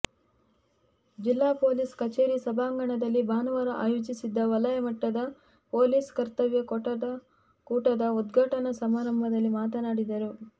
ಜಿಲ್ಲಾ ಪೊಲೀಸ್ ಕಚೇರಿ ಸಭಾಂಗಣದಲ್ಲಿ ಭಾನುವಾರ ಆಯೋಜಿಸಿದ್ದ ವಲಯಮಟ್ಟದ ಪೊಲೀಸ್ ಕರ್ತವ್ಯ ಕೂಟದ ಉದ್ಘಾಟನಾ ಸಮಾರಂಭದಲ್ಲಿ ಮಾತನಾಡಿದರು